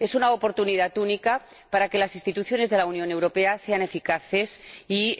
Es una oportunidad única para que las instituciones de la Unión Europea sean eficaces y